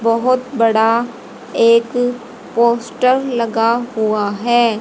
बहोत बड़ा एक पोस्टर लगा हुआ है।